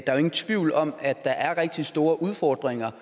er jo ingen tvivl om at der er rigtig store udfordringer